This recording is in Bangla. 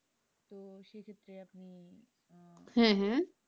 হ্যাঁ হ্যাঁ,